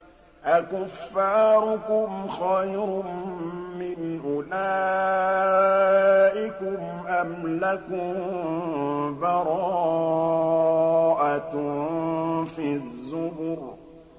أَكُفَّارُكُمْ خَيْرٌ مِّنْ أُولَٰئِكُمْ أَمْ لَكُم بَرَاءَةٌ فِي الزُّبُرِ